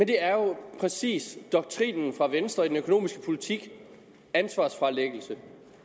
det er jo præcis doktrinen fra venstre i den økonomiske politik ansvarsfralæggelse